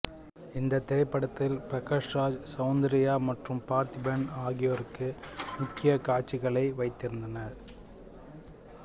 இந்தத் திரைப்படத்தில் பிரகாஷ் ராஜ் சவுந்தர்யா மற்றும் பார்த்திபன் ஆகியோருக்கு முக்கிய காட்சிகளை வைத்திருந்தார்